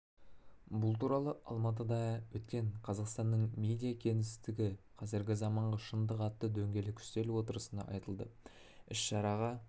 бұл туралы алматыда өткен қазақстанның медиа кеңістігі қазіргі заманғы шындық атты дөңгелек үстел отырысында айтылды іс-шараға